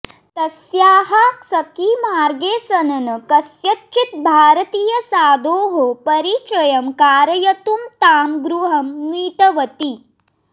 तस्याः सखी मार्गेसनन् कस्यचित् भारतीयसाधोः परिचयं कारयितुं तां गृहम् नीतवती